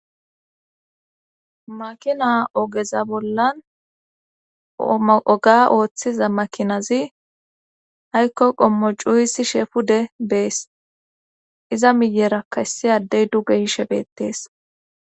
Makina ogeza bollan oga ooththiza makinazi haykko qommo cuuyisi sheefude bees iza miyerakkaessi addey duge ishebettees.